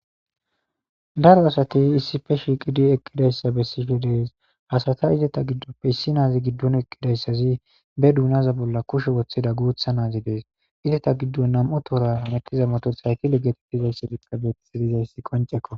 Daro asati issippe shiiqidi eqqid assa bessidi dees. Ha asata izeta giddoppe issi naazi giddon eqqida izissi be duunaza bolla kushe wottida guutta naazi dees. Izeta giddon nam'o tooramettiza motorsayikile getettiza tseliyage beetisi dizayssi qoncekko.